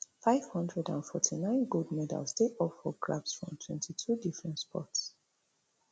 five hundred and forty-nine gold medals dey up for grabs from twenty-two different sports